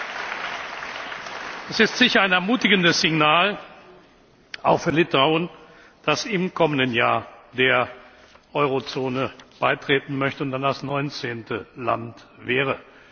Dies ist sicher ein ermutigendes Signal auch für Litauen, das im kommenden Jahr dem Euro Währungsgebiet beitreten möchte und dann das 19. Land wäre.